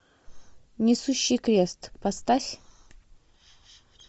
несущий крест поставь